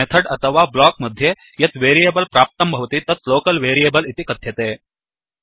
method अथवा block मध्ये यत् वेरियेबल् प्राप्तं भवति तत् लोकल् वेरियेबल् इति कथ्यते